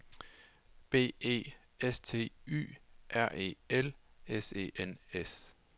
B E S T Y R E L S E N S